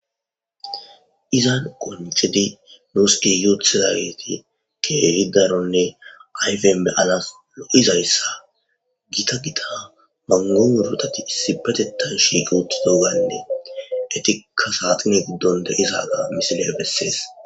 Izan gqoncid Nuus gig utidaget keeh Daronne ayfen beyanas lo'izaysa Gita Gita mango muratat issippe shiiqida Etika saxinne gidon de'zaga ha misiley beses.